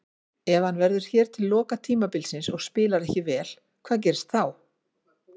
Ef hann verður hér til loka tímabilsins og spilar ekki vel, hvað gerist þá?